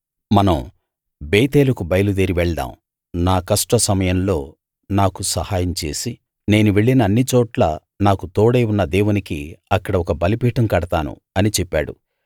మనం బేతేలుకు బయలుదేరి వెళ్దాం నా కష్ట సమయంలో నాకు సహాయం చేసి నేను వెళ్ళిన అన్ని చోట్లా నాకు తోడై ఉన్న దేవునికి అక్కడ ఒక బలిపీఠం కడతాను అని చెప్పాడు